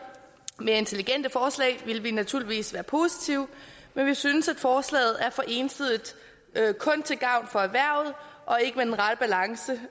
mere intelligente forslag vil vi naturligvis være positive men vi synes at forslaget er for ensidigt kun til gavn for erhvervet og ikke med den rette balance